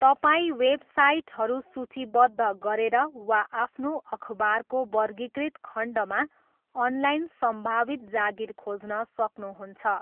तपाईँ वेबसाइटहरू सूचीबद्ध गरेर वा आफ्नो अखबारको वर्गीकृत खण्डमा अनलाइन सम्भावित जागिर खोज्न सक्नुहुन्छ।